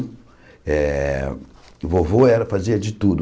Eh o vovô eh fazia de tudo.